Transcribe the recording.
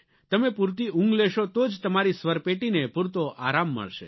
તમે પૂરતી ઊંઘ લેશો તો જ તમારી સ્વરપેટીને પૂરતો આરામ મળશે